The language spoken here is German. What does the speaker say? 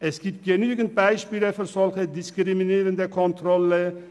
Es gibt genügend Beispiele für solche diskriminierenden Kontrollen.